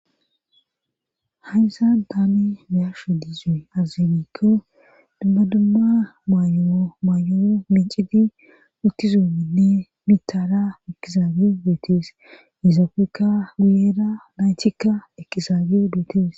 Hayssa daami miyasho diizuy azazemikko dumma dumma maayowo maayowo mincidi uttizuomminne mitara mikizaage beetees izapekka guyera laynchikka eqizaageo beetees